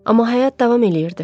Amma həyat davam eləyirdi.